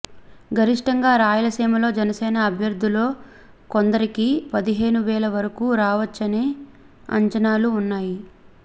గరిష్టంగా రాయలసీమలో జనసేన అభ్యర్థుల్లో కొందరికి పదిహేను వేల వరకూ రావొచ్చనే అంచనాలూ ఉన్నాయి